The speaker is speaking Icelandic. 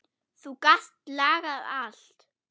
Þú gast lagað allt.